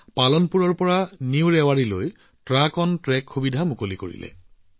পালানপুৰৰ পৰা নতুন ৰেৱাৰীলৈ ৰেলৱেই ট্ৰাক অন ট্ৰেক সুবিধা আৰম্ভ কৰিলে